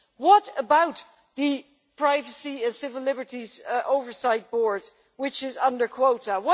What about the privacy and civil liberties oversight board, which is under quota?